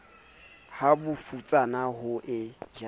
ha bofutsana bo e ja